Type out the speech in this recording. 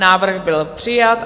Návrh byl přijat.